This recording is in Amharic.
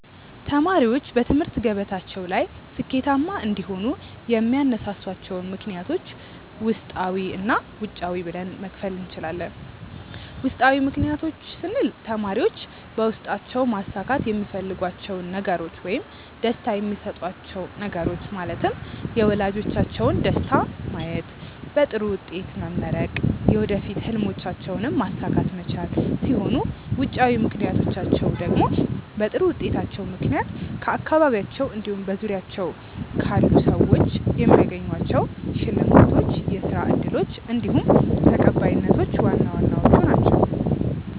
ተማሪዎች በትምህርት ገበታቸው ላይ ስኬታማ እንዲሆኑ የሚያነሳሷቸውን ምክንያቶች ውስጣዊ እና ውጫዊ ብለን መክፈል እንችላለን። ውስጣዊ ምክንያቶች ስንል ተማሪዎች በውስጣቸው ማሳካት የሚፈልጓቸውን ነገሮች ውይም ደስታ የሚሰጧቹው ነገሮች ማለትም የወላጆቻቸውን ደስታ ማየት፣ በጥሩ ውጤት መመረቅ፣ የወደፊት ህልሞቻቸውንም ማሳካት መቻል ሲሆኑ ውጫዊ ምክንያቶቻቸው ደግሞ በጥሩ ውጤታቸው ምክንያት ከአካባቢያቸው እንዲሁም በዙሪያቸው ክልል ሰዎች የሚያገኟቸው ሽልማቶች፣ የስራ እድሎች እንዲሁም ተቀባይነቶች ዋና ዋናዎቹ ናችው።